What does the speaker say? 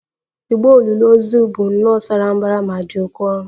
Igbo olili ozu bụ nnọọ sara mbara ma dị oké ọnụ